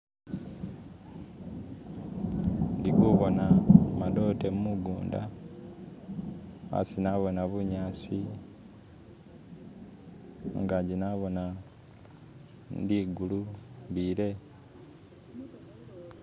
Ndi ku'boona madote mugunda asi na'boona bu'nyasi, ingaji na'boona li'gulu ile.